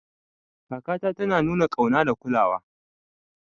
Kakata tana nuna ƙauna da kulawa.